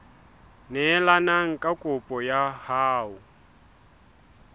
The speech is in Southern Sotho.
neelane ka kopo ya hao